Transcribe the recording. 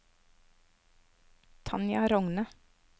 Tanja Rogne